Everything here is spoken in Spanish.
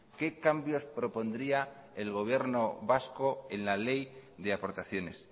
qué cambios propondría el gobierno vasco en la ley de aportaciones